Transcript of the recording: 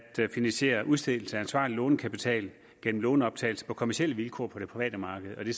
finansiere udstedelse af ansvarlig lånekapital gennem lånoptagelse på kommercielle vilkår på det private marked og det